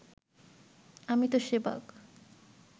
আমি তো শেবাগ